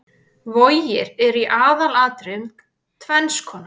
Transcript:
Vogir eru í aðalatriðum tvenns konar.